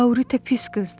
Laurita pis qızdır.